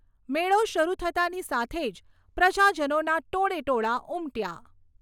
મેળો શરૂ થતાંની સાથે જ પ્રજાજનોના ટોળે ટોળા ઉમટ્યા.